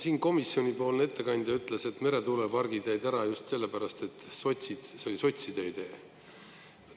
Siin komisjonipoolne ettekandja ütles, et meretuulepargid jäid ära just sellepärast, et see oli sotside idee.